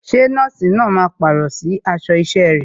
Ṣé nọ́ọ̀sì náà máa pàrọ̀ sí aṣọ isẹ rẹ̀?